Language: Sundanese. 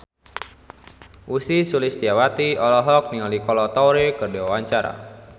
Ussy Sulistyawati olohok ningali Kolo Taure keur diwawancara